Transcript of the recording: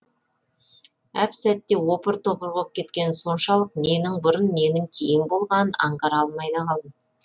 әп сәтте опыр топыр боп кеткені соншалық ненің бұрын ненің кейін болғанын аңғара алмай да қалдым